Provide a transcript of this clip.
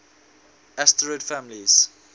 asterid families